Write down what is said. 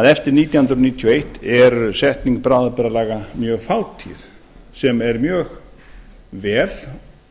að eftir nítján hundruð níutíu og eitt er setning bráðabirgðalaga mjög fátíð sem er mjög vel